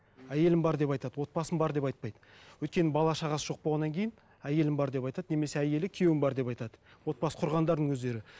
әйелім бар деп айтады отбасым бар деп айтпайды өйткені бала шағасы жоқ болғаннан кейін әйелім бар деп айтады немесе әйелі күйеуім бар деп айтады отбасы құрғандардың өздері